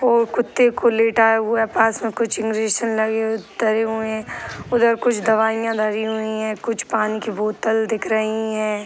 और कुत्ते को लेटाया हुआ है | पास में कुछ इंजेक्शन लगे हुए तरे हुए हैं | उधर कुछ दवाइयाँ धरी हुई हैं | कुछ पानी की बोतल दिख रही हैं ।